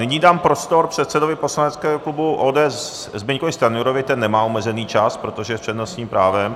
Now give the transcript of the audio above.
Nyní dám prostor předsedovi poslaneckého klubu ODS Zbyňkovi Stanjurovi, ten nemá omezený čas, protože je s přednostním právem.